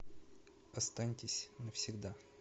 останьтесь навсегда